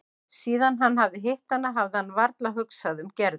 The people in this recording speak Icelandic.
Síðan hann hafði hitt hana hafði hann varla hugsað um Gerði.